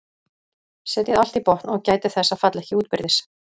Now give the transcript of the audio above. Setjið allt í botn og gætið þess að falla ekki útbyrðis.